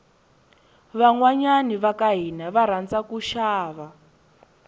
vanhwanyani vakahhina varhandza kushava